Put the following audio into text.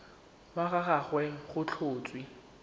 wa ga gagwe go tlhotswe